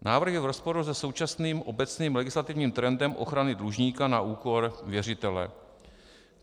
Návrh je v rozporu se současným obecným legislativním trendem ochrany dlužníka na úkor věřitele.